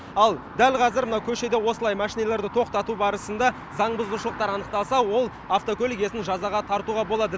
ал дәл қазір мына көшеде осылай машиналарды тоқтату барысында заң бұзушылықтар анықталса ол автокөлік иесін жазаға тартуға болады